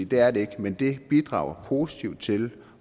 det er det ikke men det bidrager positivt til